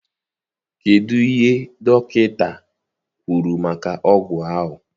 Kedụ ihe dọkịta kwuru maka ọgwụ ahụ?